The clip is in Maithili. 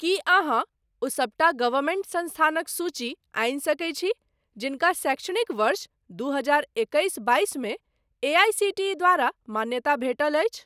की अहाँ ओ सबटा गवर्मेंट संस्थानक सूची आनि सकैत छी जिनका शैक्षणिक वर्ष दू हजार एकैस बाइस मे एआईसीटीई द्वारा मान्यताप्राप्त भेटल अछि?